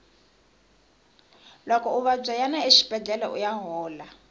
loko u vabya yana exibedlhele uya hola